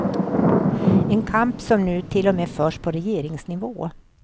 En kamp som nu till och med förs på regeringsnivå.